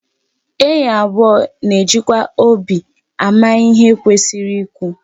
Enyi abụọ na-ejikwa obi ama ihe kwesịrị ikwu.